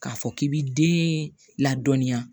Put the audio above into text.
K'a fɔ k'i b'i den ladɔnniya